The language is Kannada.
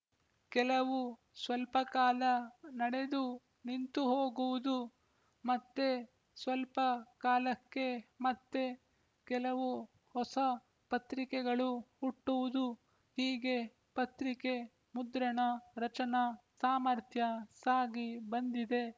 ಕೆಲವು ಸ್ವಲ್ಪಕಾಲ ನಡೆದು ನಿಂತುಹೋಗುವುದು ಮತ್ತೆ ಸ್ವಲ್ಪ ಕಾಲಕ್ಕೆ ಮತ್ತೆ ಕೆಲವು ಹೊಸ ಪತ್ರಿಕೆಗಳು ಹುಟ್ಟುವುದುಹೀಗೆ ಪತ್ರಿಕೆ ಮುದ್ರಣ ರಚನಾ ಸಾಮರ್ಥ್ಯ ಸಾಗಿ ಬಂದಿದೆ